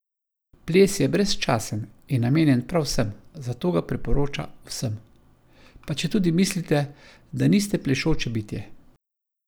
Ples je brezčasen in namenjen prav vsem", zato ga priporoča vsem: "Pa četudi mislite, da niste plešoče bitje.